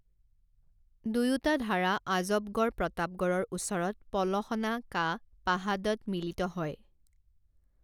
দুয়োটা ধাৰা আজবগড় প্ৰতাপগড়ৰ ওচৰত পলসনা কা পাহাডত মিলিত হয়।